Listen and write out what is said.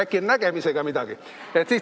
Äkki on nägemisega midagi?